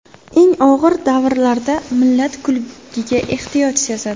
Eng og‘ir davrlarda millat kulgiga ehtiyoj sezadi.